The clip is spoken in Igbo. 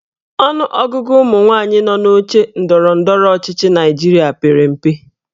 Ọnụọgụ ụmụnwaanyị nọ n'oche ndọrọ ndọrọ ọchịchị Naịjirịa pere mpe.